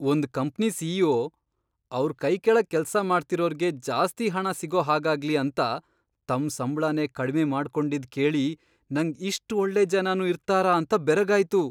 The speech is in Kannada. ಒಂದ್ ಕಂಪ್ನಿ ಸಿ.ಇ.ಒ. ಅವ್ರ್ ಕೈಕೆಳಗ್ ಕೆಲ್ಸ ಮಾಡ್ತಿರೋರ್ಗೆ ಜಾಸ್ತಿ ಹಣ ಸಿಗೋ ಹಾಗಾಗ್ಲಿ ಅಂತ ತಮ್ ಸಂಬ್ಳನೇ ಕಡ್ಮೆ ಮಾಡ್ಕೊಂಡಿದ್ದ್ ಕೇಳಿ ನಂಗ್ ಇಷ್ಟ್ ಒಳ್ಳೆ ಜನನೂ ಇರ್ತಾರಾ ಅಂತ ಬೆರಗಾಯ್ತು.